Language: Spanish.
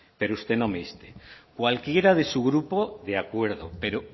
pero usted no me inste cualquiera de su grupo de acuerdo pero